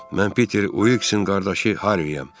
Mən Peter Wiksin qardaşı Harriyəm.